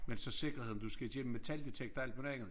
Men så sikkerheden du skal igennem metaldetektor og alt muligt andet